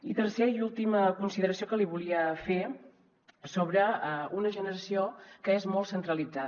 i tercera i última consideració que li volia fer sobre una generació que és molt centralitzada